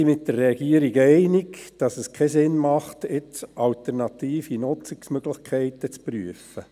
Wir sind mit der Regierung einig, dass es keinen Sinn macht, jetzt alternative Nutzungsmöglichkeiten zu prüfen.